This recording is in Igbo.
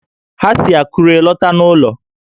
Ha si Akure lọta n'ụlọ